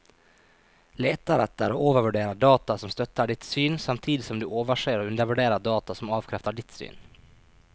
Leter etter og overvurderer data som støtter ditt syn, samtidig som du overser og undervurderer data som avkrefter ditt syn.